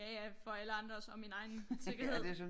Ja ja for alle andres og min egen sikkerhed